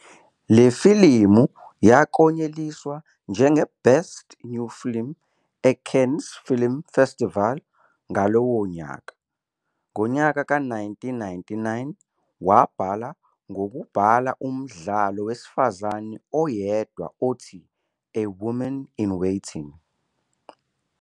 Le filimu yaklonyeliswa njengeBest New Film e-Cannes Film Festival ngalowo nyaka. Ngo-1999, wabhala ngokubhala umdlalo wesifazane oyedwa othi "A Woman in Waiting".